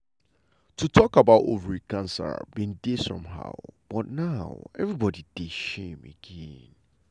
to talk about ovary cancer bin dey somehow but now nobody dey shame again.